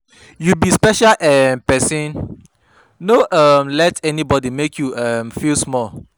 You be special um person, no um let anybody make you um feel small.